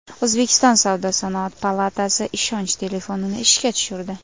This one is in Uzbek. O‘zbekiston savdo-sanoat palatasi ishonch telefonini ishga tushirdi.